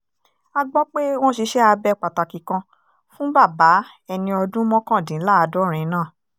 a gbọ́ pé wọ́n ṣiṣẹ́ abẹ pàtàkì kan fún bàbá ẹni ọdún mọ́kàndínláàádọ́rin náà